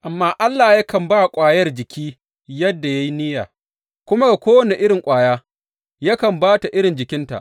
Amma Allah yakan ba ƙwayar jiki yadda ya yi niyya, kuma ga kowane irin ƙwaya yakan ba ta irin jikinta.